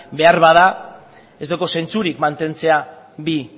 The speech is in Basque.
beharbada ez dauka zentzurik mantentzea bi